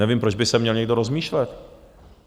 Nevím, proč by se měl někdo rozmýšlet.